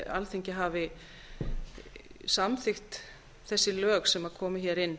alþingi hafi samþykkt þessi lög sem komu hér inn